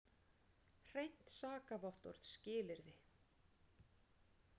Hreint sakavottorð skilyrði.